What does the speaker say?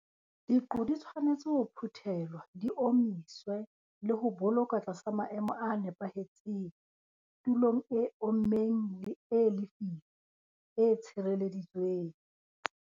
Diqo di tshwanetse ho phuthelwha, di omiswe le ho bolokwa tlasa maemo a nepahetseng tulong e ommeng le e lefifi, e tshireleditsweng.